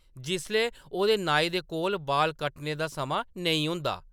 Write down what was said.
जिसलै ओह्‌‌‌दे नाई दे कोल बाल कट्टने दा समां नेईं होंदा ।